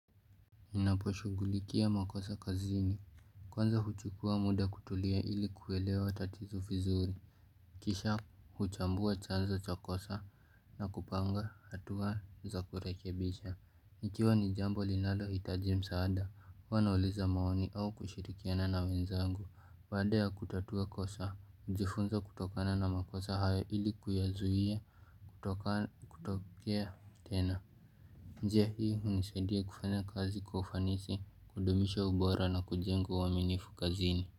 Inaposhugulikia makosa kazini. Kwanza huchukua muda kutulia ili kuelewa tatizo vizuri. Kisha huchambua chanzo cha kosa na kupanga hatua za kurekebisha. Ikiwa ni jambo linalohitaji msaada. Hua nauliza maoni au kushirikiana na wenzangu. Baada ya kutatua kosa. Njifunza kutokana na makosa hayo ili kuyazuia kutoka kutokea tena. Njia hii hunisaidia kufanya kazi kwa ufanisi kudumisha ubora na kujenga uaminifu kazini.